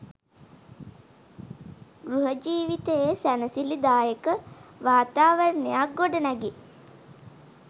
ගෘහ ජීවිතයේ සැනසිලිදායක වාතාවරණයක් ගොඩනැගේ.